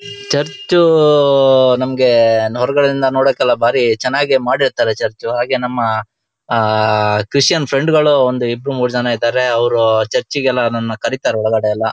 Church ಆಅ ನಮ್ಗೆ ಹೊರಗಡೆಯಿಂದ ನೋಡೋಕ್ಕೆ ಎಲ್ಲ ಬಾರಿ ಚೆನ್ನಾಗಿ ಮಾಡಿರ್ತಾರೆ ಚರ್ಚು ಹಾಗೆ ನಮ್ಮ ಆಹ್ಹ್ಹ್ಹ್ಹ್ ಆಹ್ಹ್ ಕ್ರಿಶ್ಚಿಯನ್ ಫ್ರೆಂಡ್ಸ್ ಗಳು ಒಂದು ಇಬ್ಬರು ಮೂರೂ ಜನ ಇದ್ದಾರೆ ಅವರು ಚರ್ಚಿಗೆಲ್ಲ ನನ್ನ ಕರಿತ್ತಾರೆ ಒಳಗಡೆ ಎಲ್ಲ.